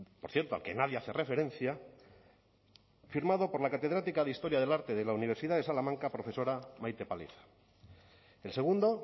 por cierto al que nadie hace referencia firmado por la catedrática de historia del arte de la universidad de salamanca profesora maite paliza el segundo